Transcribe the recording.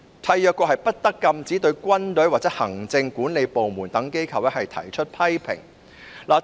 締約國不得禁止對軍隊或行政管理部門等機構提出批評。